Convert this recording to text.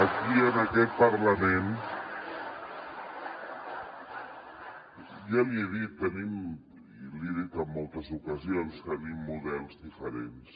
aquí en aquest parlament ja l’hi he dit i l’hi he dit en moltes ocasions tenim models diferents